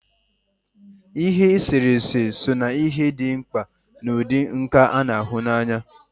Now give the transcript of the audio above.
Ihe eserese so na ihe dị mkpa n'ụdị nka a na-ahụ anya